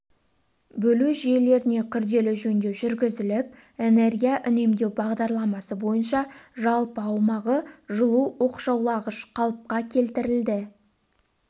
бөлу жүйелеріне күрделі жөндеу жүргізіліп энергия үнемдеу бағдарламасы бойынша жалпы аумағы жылу оқшаулағыш қалыпқа келтірілді